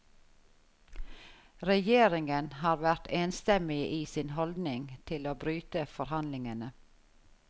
Regjeringen har vært enstemmige i sin holdning til å bryte forhandlingene.